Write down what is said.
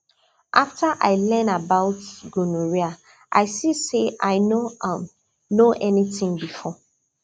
after i learn about gonorrhea i see say i no um know anything before